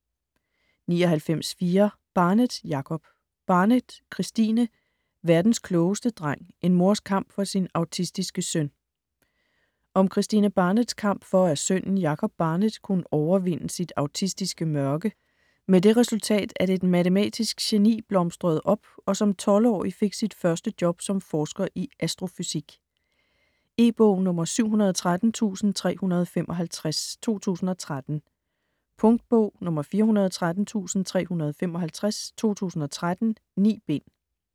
99.4 Barnett, Jacob Barnett, Kristine: Verdens klogeste dreng: en mors kamp for sin autistiske søn Om Kristine Barnetts kamp for at sønnen, Jacob Barnett, kunne overvinde sit autistiske mørke. Med det resultat at et matematisk geni blomstrede op og som 12-årig fik sit første job som forsker i astrofysik. E-bog 713355 2013. Punktbog 413355 2013. 9 bind.